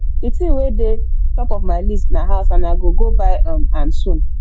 the thing wey dey top of my list na house and i go go buy um am soon